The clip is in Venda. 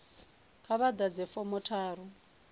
kha vha ḓadze fomo tharu